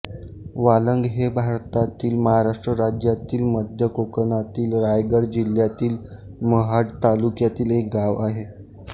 वालंग हे भारतातील महाराष्ट्र राज्यातील मध्य कोकणातील रायगड जिल्ह्यातील महाड तालुक्यातील एक गाव आहे